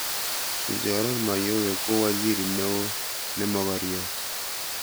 kichoran Mayowe ko waziri neoo nemogoriot